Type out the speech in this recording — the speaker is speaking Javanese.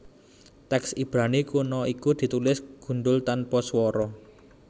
Tèks Ibrani kuna iku ditulis gundhul tanpa swara